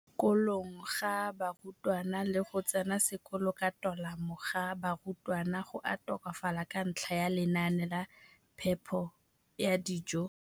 kolong ga barutwana le go tsena sekolo ka tolamo ga barutwana go a tokafala ka ntlha ya lenaane la phepo ya dijo.